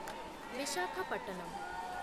Visakhapatnam